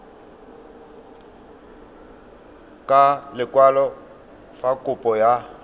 ka lekwalo fa kopo ya